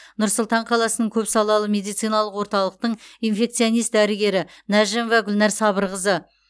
нұр сұлтан қаласының көпсалалы медициналық орталықтың инфекционист дәрігері нәжімова гүлнәр сабырқызы